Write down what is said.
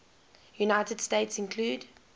united states include